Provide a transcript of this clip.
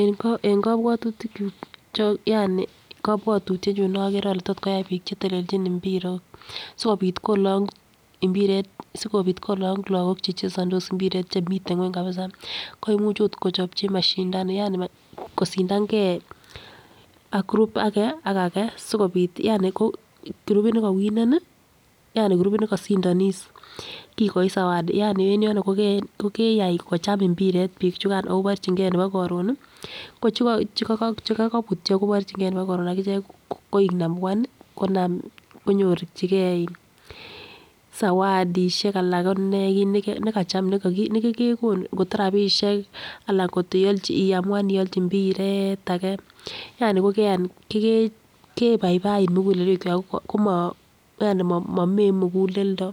En kobwotutik kyuk yaani kobwotutyenyun nokere ole tot koyai bik chetelchin mbirok sikopit kolong imbiret sikopit kolong lokok chechesondos mbiret chemiten ngwony kabisa koimuchn ot kochopchi mashindano yaaani kosindangee ak group age ak age sikopit yaani ko grupit nekowonen nii yaani kurupit nekosindonis kikoik sawadi yaani en yoni ko keyai kicham imbiret bik chukan koborchingee nebo korun nii ko cheko chekokobutyo koborchingee nebo korun akichek koik numbuan nii konan konyorchigee zawadishek anan konee nekacham nekekonu koto rabishek anan koyiolchi iamuan iochi mbiret age yani kokeyan kokebaibait muguleluek kwak komo yani momee muguleldo